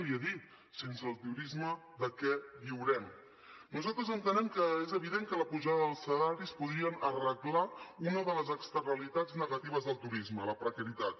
li ho he dit sense el turisme de què viurem nosaltres entenem que és evident que l’apujada dels salaris podria arreglar una de les externalitats negatives del turisme la precarietat